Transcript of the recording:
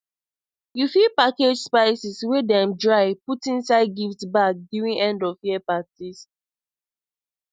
you fit package spices wey them dry put inside gift bags during endofyear parties